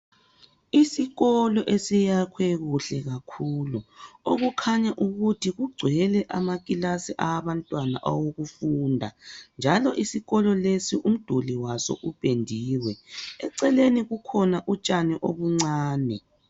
Isikolo esiyakhwe kuhle kakhulu okukhanya ukuthi kugcwele amakilasi awabantwana awokufunda njalo isikolo lesi umduli waso upendiwe eceleni kukhona utshani obuncane.